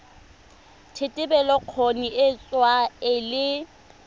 thetelelobokgoni e tsewa e le